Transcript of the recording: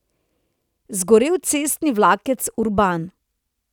Zgorel cestni vlakec Urban.